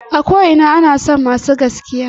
A ko ina ana son masu gaskiya.